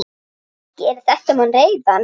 Gerir þetta mann reiðan?